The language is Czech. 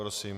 Prosím.